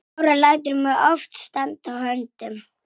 Hana langar að öskra.